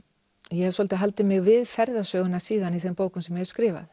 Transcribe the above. ég hef svolítið haldið mig við ferðasöguna síðan í þeim bókum sem ég hef skrifað